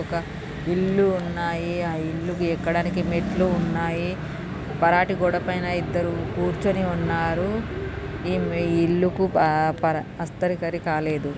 ఒక ఇల్లు ఉన్నాయి ఆ ఇల్లుకి ఎక్కడానికి మెట్లు ఉన్నాయి పెరటి గోడ పైన ఇద్దరు. కూర్చుని ఉన్నారు. ఈ ఇళ్ళకి పర్-పర్ హస్తరికలు కాలేదు.